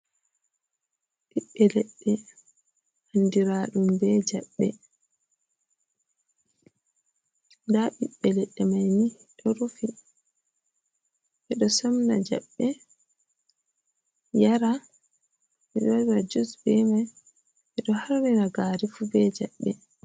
Ɓiɓɓe leɗɗe andiraɗum be jaɓɓe. Nda ɓiɓɓe leɗɗe mai ni ɗo rufi. Ɓe ɗo somna jaɓɓe yara, waɗira jus be mai, ɓe ɗo harnira gari fu be jaɓɓe.